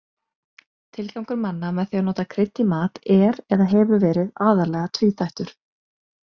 Tilgangur manna með því að nota krydd í mat er eða hefur verið aðallega tvíþættur.